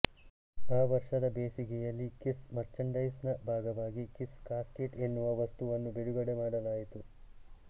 ಆ ವರ್ಷದ ಬೇಸಿಗೆಯಲ್ಲಿ ಕಿಸ್ ಮರ್ಚಂಡೈಸ್ ನ ಭಾಗವಾಗಿ ಕಿಸ್ ಕಾಸ್ಕೆಟ್ ಎನ್ನುವ ವಸ್ತುವನ್ನು ಬಿಡುಗಡೆ ಮಾಡಲಾಯಿತು